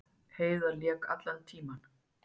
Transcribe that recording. Heiðar lék allan tímann